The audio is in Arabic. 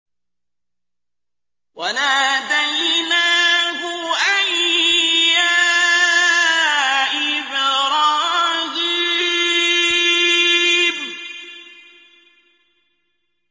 وَنَادَيْنَاهُ أَن يَا إِبْرَاهِيمُ